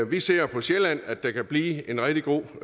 vi ser på sjælland at der kan blive en rigtig god